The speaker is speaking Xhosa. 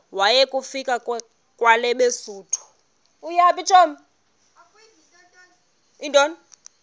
waya kufika kwelabesuthu